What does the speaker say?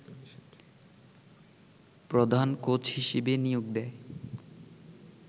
প্রধান কোচ হিসেবে নিয়োগ দেয়